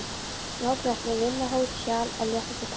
Smáglettni, vinahót, hjal af léttasta tagi.